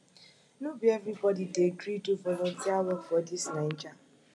no be everybodi dey gree do volunteer work for dis naija